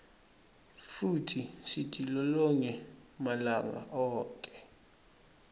futsi sitilolonge malanga onkhe